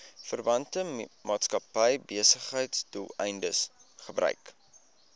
verwante maatskappybesigheidsdoeleindes gebruik